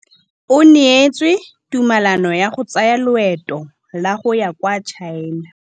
O neetswe tumalanô ya go tsaya loetô la go ya kwa China.